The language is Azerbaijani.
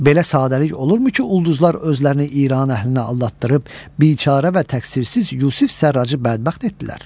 Belə sadəlik olurmu ki, ulduzlar özlərini İran əhlinə aldatdırıb biçara və təqsirsiz Yusif Sərracı bədbəxt etdilər?